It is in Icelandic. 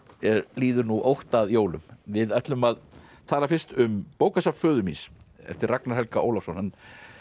líður nú ótt að jólum við ætlum að tala fyrst um bókasafn föður míns eftir Ragnar Helga Ólafsson hann